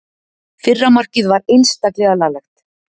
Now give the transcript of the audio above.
Fyrra markið var einstaklega laglegt.